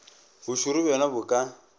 bo šoro bjona bo ka